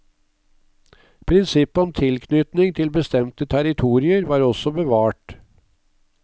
Prinsippet om tilknytning til bestemte territorier var også bevart.